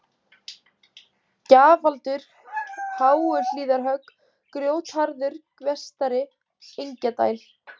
Gjafadalur, Háuhlíðarhögg, Grjótgarður Vestari, Engjadæl